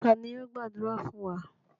Ta ni yóò gbàdúrà fún wa?